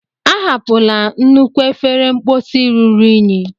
Ahapụla nnukwu efere mposi ruru unyi!